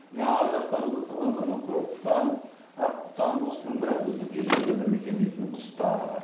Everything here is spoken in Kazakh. міне арғы жақтарыңызда тұрған мына көкқұтан аққұтан осының бәрі біздің территорияда мекендейтін құстар